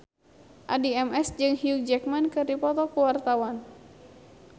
Addie MS jeung Hugh Jackman keur dipoto ku wartawan